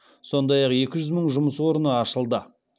сондай ақ екі жүз мың жұмыс орны ашылды